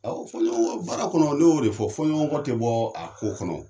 Awɔ, fɔ ɲɔgɔnkɔ baara kɔnɔ ne y'o de fɔ, fɔ ɲɔgɔnɔkɔ tɛ bɔ a ko kɔnɔ.